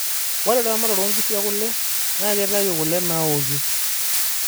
ore eamatare oo nkishu ekula na keitayu kule naaoki